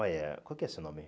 Olha, qual que é o seu nome?